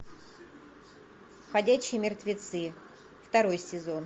ходячие мертвецы второй сезон